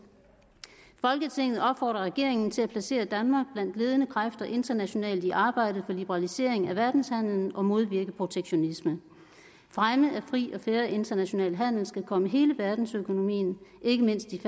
folketinget opfordrer regeringen til at placere danmark blandt ledende kræfter internationalt i arbejdet for liberalisering af verdenshandlen og at modvirke protektionisme fremme af fri og fair international handel skal komme hele verdensøkonomien ikke mindst de